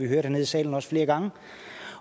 hernede i salen flere gange